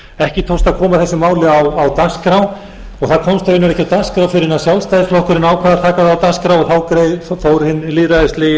ekki tókst að koma þessu máli á dagskrá og það komst raunar ekki á dagskrá fyrr en sjálfstæðisflokkurinn ákvað að taka það á dagskrá og þá fór hinn lýðræðislegi